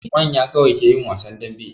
Manya kawai ke yin wasan dambe.